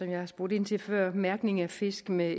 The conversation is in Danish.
jeg har spurgt ind til før mærkning af fisk med